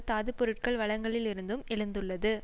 தாது பொருட்கள் வளங்களில் இருந்தும் எழுந்துள்ளது